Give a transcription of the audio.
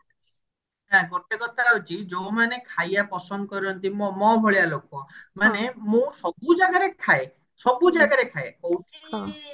ଆଉ ଗୋଟେ କଥା ହଉଛି ଯୋଉମାନେ ଖାଇବା ପସନ୍ଦ କରନ୍ତି ମୋ ମୋ ଭଳିଆ ଲୋକ ମାନେ ମୁଁ ସବୁ ଜାଗାରେ ଖାଏ ସବୁ ଜାଗାରେ ଖାଏ କୋଉଠି